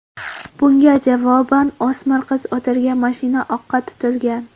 Bunga javoban, o‘smir qiz o‘tirgan mashina o‘qqa tutilgan.